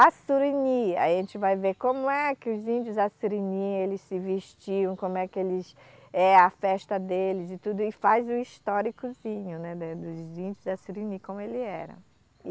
Assurini, aí a gente vai ver como é que os índios assurini eles se vestiam, como é que eles... é a festa deles e tudo, e faz o históricozinho, né, da dos índios assurini, como ele era.